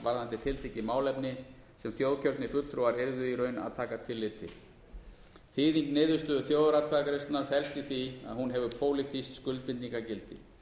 varðandi tiltekið málefni sem þjóðkjörnir fulltrúar yrðu í raun að taka tillit til þýðing niðurstöðu þjóðaratkvæðagreiðslunnar felst í því að hún hefur pólitískt skuldbindingargildi